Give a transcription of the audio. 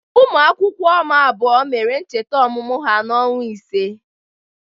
Ụmụaka m abụọ mere ncheta ọmụmụ ha n'ọnwa ise.